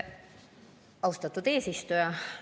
Austatud eesistuja!